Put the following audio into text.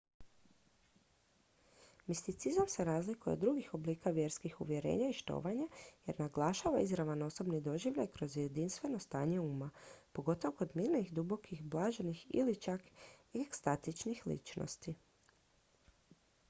misticizam se razlikuje od drugih oblika vjerskih uvjerenja i štovanja jer naglašava izravan osobni doživljaj kroz jedinstveno stanje uma pogotovo kod mirnih dubokih blaženih ili čak ekstatičnih ličnosti